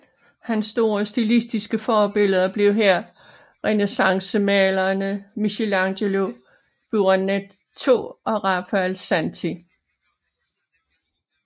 Hans store stilistiske forbilleder blev her renæssancemalerne Michelangelo Buonarroti og Raffaello Santi